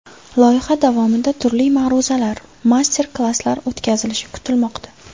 Loyiha davomida turli ma’ruzalar, master-klasslar o‘tkazilishi kutilmoqda.